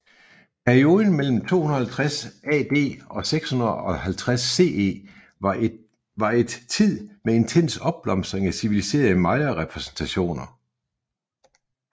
Perioden mellem 250 AD og 650 CE var et tid med intens opblomstring af civiliserede Maya præstationer